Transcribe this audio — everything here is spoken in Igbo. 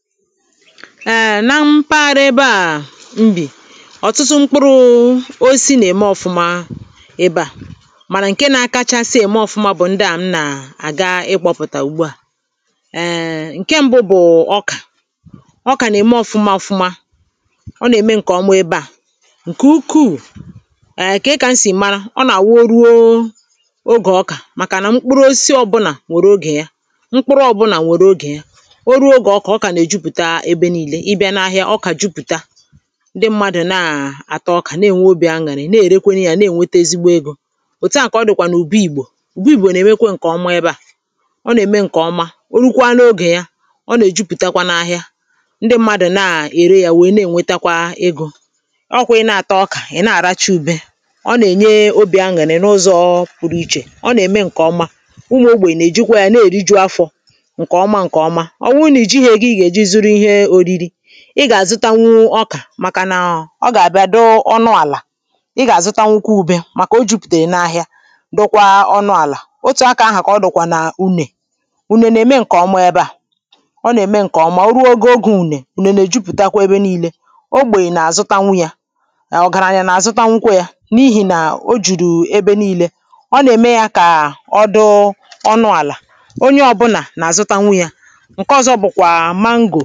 èè na mpaghara ebe à mbì ọ̀tụtụ mkpụrụ̇ o si nà-ème ọ̀fụma ebe à màrà ǹke nȧ-ȧkȧchȧsȧ ème ọ̀fụma bụ̀ ndị à m nà-àga ịkpọ̇pụ̀tà ùgbu à um nke ṁbụ̇ bụ̀ ọkà ọkà nà-ème ọ̀fụma ọ̀fụma ọ nà-ème ǹkèọ̀mụ̀ ebe à ǹkè ukwuù um ke kà m sì màrà ọ nà-àwụ o ruo ogè ọkà màkà nà mkpụrụ o si ọbụlà nwèrè ogè ya mkpụrụ ọ̀bụlà nwèrè ógè ya o ruo oge ọkà ọkà na ebe niile ibia na ahịa ọkà ejupùta ndị mmadụ̀ naà àta ọkà na-ènwe obì aṅàrị̀ na-èrekwe ya na-ènweta ezigbo egȯ òtu à kà ọ dị̀kwà nà ùbu ìgbò ùbu ìgbò nà-èmekwe ǹkè ọma ebe à ọ nà-ème ǹkè ọma o rụkwa n’ogè ya ọ nà-èjupùtakwa n’ahịa ndị mmadụ̀ naà ère ya wèe na-ènwetakwa egȯ ọkwà ị na-àta ọkà, ị̀ na-àracha ube ọ nà-ènye obì aṅàrị̀ n’ụzọ̇ pụrụ ichè ọ nà-ème ǹkè ọma ụmụ̀ ogbè nà-èjikwa ya na-èriju afọ̇ ǹkè ọma ǹkè ọma Oburu na ijighi ego I ga ejị zuru ihe oriri ị gà-àzụtanwu ọkà màkà nà ọ gà-àbịa dọ ọnụ àlà ị gà-àzụtanwu ukwu ube màkà o jupùtèrè n’ahịa dokwa ọnụ àlà ị ga azụtanwukwa ube maka ojuputere nahịa dikwa ọnụ ala otù akȧ ahà kà ọ dọkwà n’unè ùnènè mee ǹkè ọ mọ̀ọ ebe à ọ nà-ème ǹkè ọ mà o ruo ogè ogè unè ùnènè jupùtakwa ebe nii̇lė ogbèghì nà-àzụtanwu yȧ ọ gàrà anyȧ nà-àzụtanwukwa yȧ n’ihì nà ghị jùrù ebe nii̇lė ọ nà-ème yȧ kà ọ dị ọnụ àlà onye ọbụnà nà-àzụtanwu yȧ nke ọzọ bụkwa